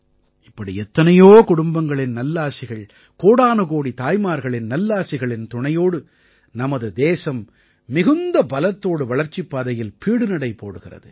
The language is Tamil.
இப்படி எத்தனையோ குடும்பங்களின் நல்லாசிகள் கோடானுகோடி தாய்மார்களின் நல்லாசிகளின் துணையோடு நமது தேசம் மிகுந்த பலத்தோடு வளர்ச்சிப் பாதையில் பீடுநடை போடுகிறது